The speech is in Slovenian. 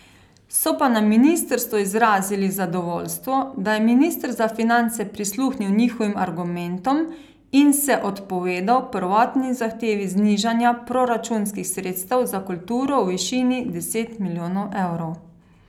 So pa na ministrstvu izrazili zadovoljstvo, da je minister za finance prisluhnil njihovim argumentom in se odpovedal prvotni zahtevi znižanja proračunskih sredstev za kulturo v višini deset milijonov evrov.